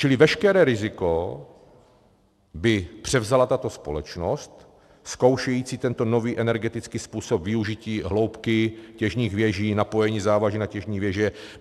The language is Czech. Čili veškeré riziko by převzala tato společnost zkoušející tento nový energetický způsob využití hloubky těžních věží, napojení závaží na těžní věže.